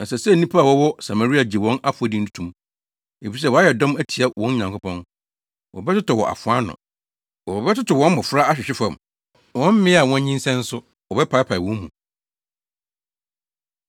Ɛsɛ sɛ nnipa a wɔwɔ Samaria gye wɔn afɔdi to mu, efisɛ wɔayɛ dɔm atia wɔn Nyankopɔn. Wɔbɛtotɔ wɔ afoa ano; wɔbɛtotow wɔn mmofra ahwehwe fam, wɔn mmaa a wɔanyinsɛn nso wɔbɛpaapae wɔn mu.”